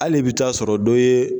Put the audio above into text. Ale bi taa sɔrɔ dɔ ye